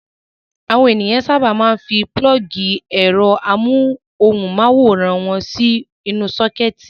Àwọn ènìyàn sábà máa ń fi pulọ́ọ́gì ẹ̀rọ amóhùmáwòhán wọn sínú sọ́kẹ́tì.